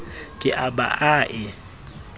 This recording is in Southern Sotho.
ke a ba a e